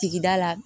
Tigida la